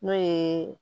N'o ye